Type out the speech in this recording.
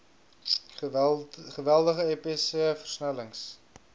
geweldige epiese versnellings